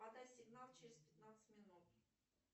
подай сигнал через пятнадцать минут